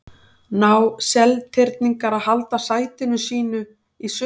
Ná Seltirningar að halda sæti sínu í sumar?